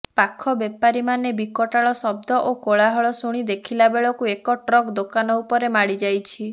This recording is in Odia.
ପାଖ ବେପାରୀମାନେ ବିକଟାଳ ଶବ୍ଦ ଓ କୋଳାହଳ ଶୁଣି ଦେଖିଲା ବେଳକୁ ଏକ ଟ୍ରକ ଦୋକାନ ଉପରେ ମାଡିଯାଇଛି